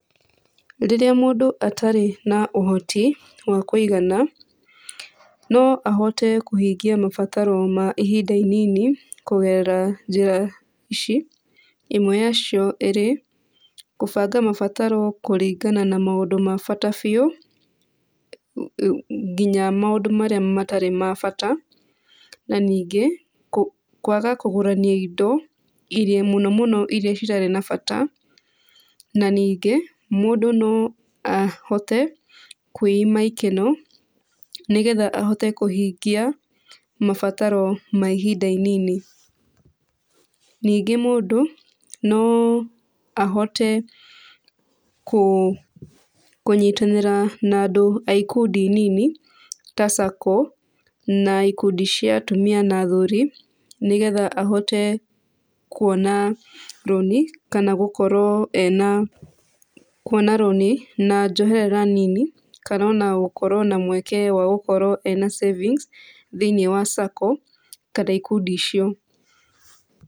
Rĩrĩa mũndũ atarĩ na ũhoti wa kũigana, no ahote kũhingia mabataro ma ihinda inini kũgerera njĩra ici, ĩmwe yacio ĩrĩ, kũbanga mabataro kũringana na maũndũ ma bata biũ nginya maũndũ marĩa matarĩ ma bata. Na ningĩ kwaga kũgũrania indo mũno mũno iria citarĩ na bata. Na ningĩ mũndũ no ahote kwĩima ikeno nĩgetha ahote kũhingia mabataro ma ihinda inini. Ningĩ mũndũ no ahote kũnyitanĩra na andũ a ikundi nini ta saco na ikundi cia atumia na athuri, nĩgetha ahote kuona rũni kana gũkorwo ena kuona rũni na njoherera nini, kana ona gũkorwo na mweke wa gũkorwo ena savings thĩiniĩ wa sacco kana ikundi icio.